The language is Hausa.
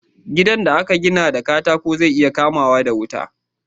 Gidan da aka gina na katako zai iya kama wuta da wuri